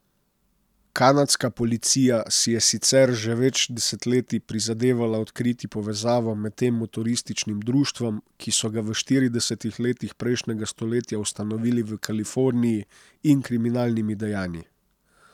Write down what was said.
Kanadska policija si je sicer že več desetletij prizadevala odkriti povezavo med tem motorističnim društvom, ki so ga v štiridesetih letih prejšnjega stoletja ustanovili v Kaliforniji, in kriminalnimi dejanji.